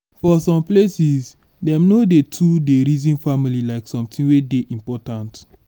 for some places dem no too dey reason family like something wey dey important